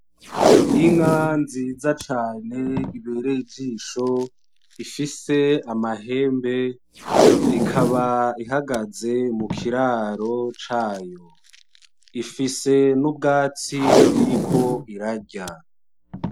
Inka nziza cane ibereye ijisho ifise amahembe ikaba ihagaze mu kiraro cayo, ifise n'ubwatsi iriko irarya.